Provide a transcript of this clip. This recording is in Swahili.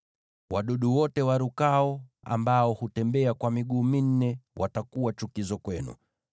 “ ‘Wadudu wote warukao ambao hutembea kwa miguu minne watakuwa chukizo kwenu.